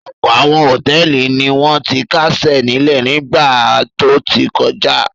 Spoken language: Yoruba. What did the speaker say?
Ọ̀pọ̀ àwọn hòtẹ́ẹ́lì ni wọ́n ti kásẹ̀ nílẹ̀ nígbà tó ti kọjá.